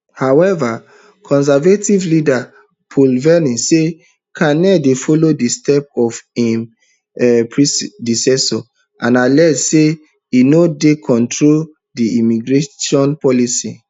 however conservative leader poilievre say carney dey follow di steps of im um predecessor and allege say e no dey control di immigration policy